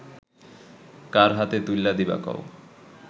কার হাতে তুইল্যা দিবা কও